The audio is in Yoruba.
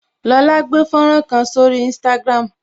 Lola gbé fọ́nrán kan sórí instagram